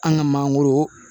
An ka mangoro